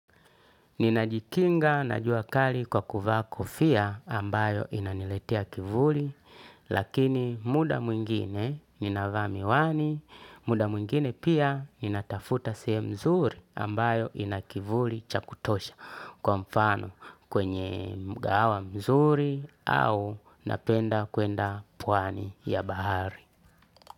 Ninajikinga jua kali kwa kuvaa kofia ambayo inaniletea kivuli, lakini muda mwingine ninavaa miwani, muda mwingine pia ninatafuta sehemu mzuri ambayo ina kivuli cha kutosha, kwa mfano kwenye mgahawa mzuri au napenda kwenda pwani ya bahari.